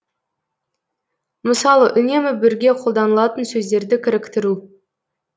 мысалы үнемі бірге қолданылатын сөздерді кіріктіру